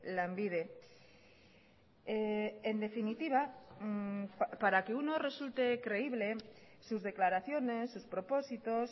lanbide en definitiva para que uno resulte creíble sus declaraciones sus propósitos